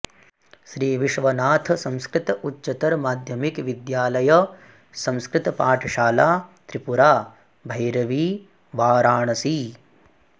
श्री विश्वनाथ संस्कृत उच्चतर माध्यमिक विद्यालय संस्कृत पाठशाला त्रिपुरा भैरवी वाराणसी